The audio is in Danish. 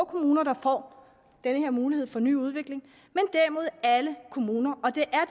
kommuner der får den her mulighed for ny udvikling men derimod alle kommuner og det er